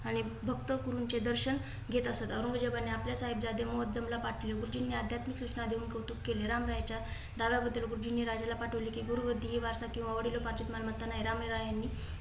आणि भक्त गुरूंचेचे दर्शन घेत असत. औरंगजेबाने आपल्या साहेब जादे मोहोज्जम ला पाठविले. गुरुजींनी आध्यात्मिक सूचना देऊन कौतुक केले. रामराया च्या दाव्या बद्दल गुरुजींनी राज्याला पाठवली. कि गुरुगद्दी हि वारसा किंवा वडिलोपार्जित मालमत्ता नाही. रामराय यांनी